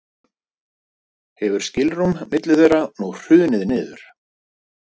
Hefur skilrúm milli þeirra nú hrunið niður.